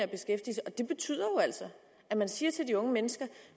det betyder jo altså at man siger til de unge mennesker